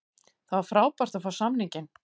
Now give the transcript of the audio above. Það var frábært að fá samninginn.